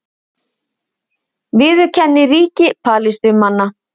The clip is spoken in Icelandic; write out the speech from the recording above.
Viðurkenni ríki Palestínumanna